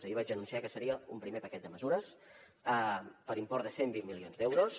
ahir vaig anunciar que seria un primer paquet de mesures per import de cent i vint milions d’euros